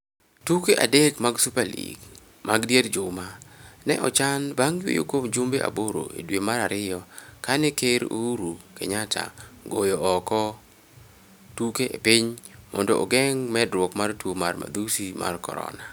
Tuke adek mag super league mag dier juma ne ochan bang yweyo kuom jumbe aboro e dwe mar ariyo kane Ker Uhuru Kenyatta ogoyo oko tuke e piny mondo ogeng' medruok mar tuo mar madhusi mag Corona.